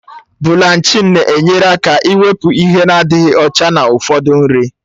Bụlanchịn na-enyere aka ịwepụ ihe nadịghị ọcha na ụfọdụ nri